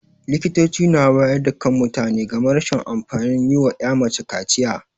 Likitoci na wayar da kan mutane game rashin amfanin yi wa 'ya mace kaciya.